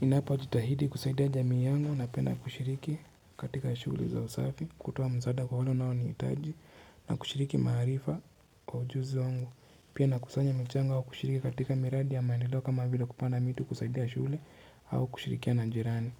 Ninapo jitahidi kusaidia jamii yangu napenda kushiriki katika shule za usafi, kutoa msaada kwa wale wanao nihtaji na kushiriki maarifa kwa ujuzi wangu. Napenda kufanya michango ya kushiriki katika miradi ya maendeleo kama vila kupanda miti kusaidia shule au kushirikiana na jirani.